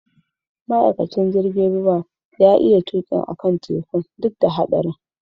Ma'aikacin jirigin ruwan ya iya tuki akan tekun duk da haɗarin.